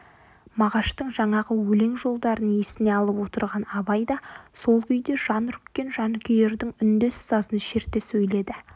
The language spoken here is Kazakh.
мағаштың жаңағы өлең жолдарын есіне алып отырған абай да сол күйде жан үріккен жанкүйердің үндес сазын шерте сөйледі